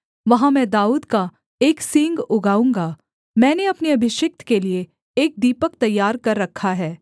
वहाँ मैं दाऊद का एक सींग उगाऊँगा मैंने अपने अभिषिक्त के लिये एक दीपक तैयार कर रखा है